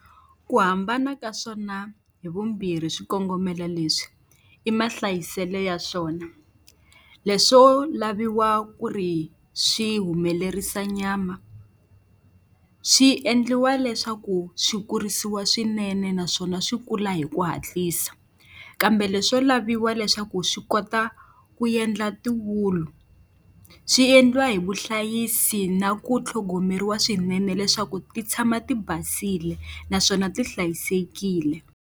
Ku hambana ka swona hi vumbirhi swikongomelo leswi, i mahlayiselo ya swona. Leswo laviwa ku ri swi humelerisa nyama swi endliwa leswaku swi kurisiwa swinene naswona swi kula hi ku hatlisa, kambe leswo laviwa leswaku swi kota ku endla tiwulu swi endliwa hi vuhlayisi na ku tlhogomeriwa swinene leswaku ti tshama ti basile naswona ti hlayisekile.